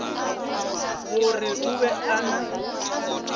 gore o be a na